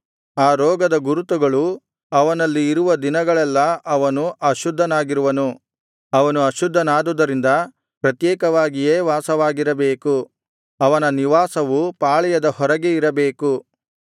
ಆ ರೋಗದ ಗುರುತುಗಳು ಅವನಲ್ಲಿ ಇರುವ ದಿನಗಳೆಲ್ಲಾ ಅವನು ಅಶುದ್ಧನಾಗಿರುವನು ಅವನು ಅಶುದ್ಧನಾದುದರಿಂದ ಪ್ರತ್ಯೇಕವಾಗಿಯೇ ವಾಸವಾಗಿರಬೇಕು ಅವನ ನಿವಾಸವು ಪಾಳೆಯದ ಹೊರಗೆ ಇರಬೇಕು